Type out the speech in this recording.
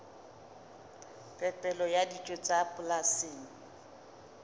phepelo ya dijo tsa polasing